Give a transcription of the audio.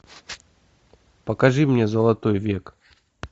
покажи мне золотой век